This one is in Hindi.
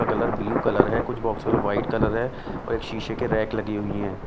का कलर ब्लू कलर है कुछ बॉक्स का वाइट कलर है और एक शीशे के रैक लगी हुई हैं।